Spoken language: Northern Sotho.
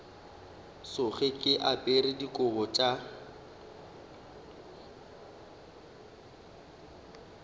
tsoge ke apere dikobo tša